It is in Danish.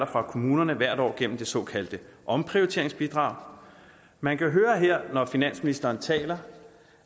fra kommunerne hvert år gennem det såkaldte omprioriteringsbidrag man kan høre her når finansministeren taler